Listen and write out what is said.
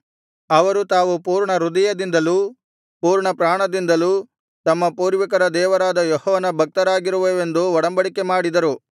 ಅವರು ತಾವು ಪೂರ್ಣ ಹೃದಯದಿಂದಲೂ ಪೂರ್ಣಪ್ರಾಣದಿಂದಲೂ ತಮ್ಮ ಪೂರ್ವಿಕರ ದೇವರಾದ ಯೆಹೋವನ ಭಕ್ತರಾಗಿರುವೆವೆಂದೂ ಒಡಂಬಡಿಕೆ ಮಾಡಿದರು